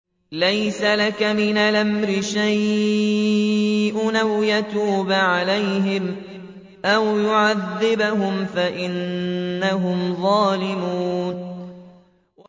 لَيْسَ لَكَ مِنَ الْأَمْرِ شَيْءٌ أَوْ يَتُوبَ عَلَيْهِمْ أَوْ يُعَذِّبَهُمْ فَإِنَّهُمْ ظَالِمُونَ